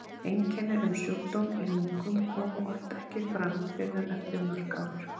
Einkenni um sjúkdóm í lungum koma oft ekki fram fyrr en eftir mörg ár.